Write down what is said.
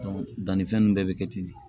dannifɛn nunnu bɛɛ bi kɛ ten de